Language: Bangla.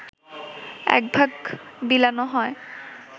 এক ভাগ বিলোনো হয়